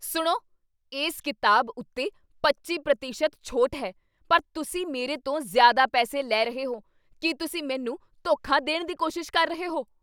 ਸੁਣੋ! ਇਸ ਕਿਤਾਬ ਉੱਤੇ ਪੱਚੀ ਪ੍ਰਤੀਸ਼ਤ ਦੀ ਛੋਟ ਹੈ ਪਰ ਤੁਸੀਂ ਮੇਰੇ ਤੋਂ ਜ਼ਿਆਦਾ ਪੈਸੇ ਲੈ ਰਹੇ ਹੋ ਕੀ ਤੁਸੀਂ ਮੈਨੂੰ ਧੋਖਾ ਦੇਣ ਦੀ ਕੋਸ਼ਿਸ਼ ਕਰ ਰਹੇ ਹੋ?